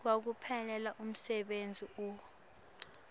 wekuphelelwa ngumsebenti uif